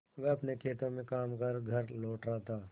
वह अपने खेतों में काम कर घर लौट रहा था